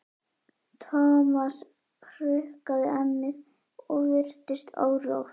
Thomas hrukkaði ennið og virtist órótt.